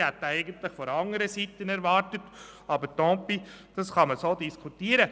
Ich hätte ihn von einer anderen Seite erwartet, aber «tant pis», man kann das so diskutieren.